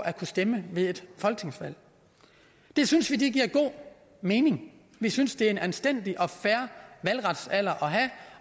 at kunne stemme ved et folketingsvalg det synes vi giver god mening vi synes det er en anstændig og fair valgretsalder at have